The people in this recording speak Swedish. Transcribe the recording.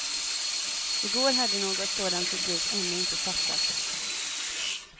I går hade något sådant beslut ännu inte fattats.